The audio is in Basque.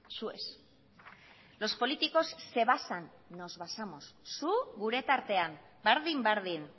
zu ez los políticos se basan nos basamos zu gure tartean berdin berdin